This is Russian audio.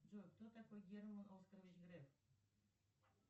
джой кто такой герман оскарович греф